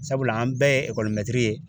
Sabula an bɛɛ ye mɛtiri ye.